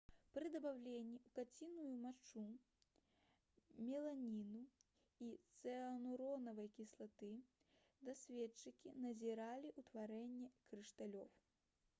пры дабаўленні ў каціную мачу меланіну і цыануравай кіслаты даследчыкі назіралі ўтварэнне крышталёў